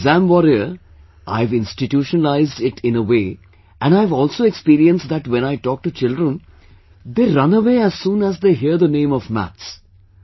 And with exam warrior, I have institutionalized it in a way and I have also experienced that when I talk to children, they run away as soon as they hear the name of maths